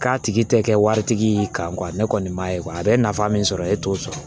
K'a tigi tɛ kɛ waritigi y'i kan ne kɔni m'a ye a bɛ nafa min sɔrɔ e t'o sɔrɔ